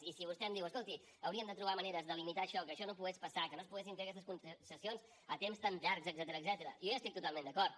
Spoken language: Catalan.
i si vostè em diu escolti hauríem de trobar maneres de limitar això que això no pogués passar que no es poguessin fer aquestes concessions a temps tan llargs etcètera jo hi estic totalment d’acord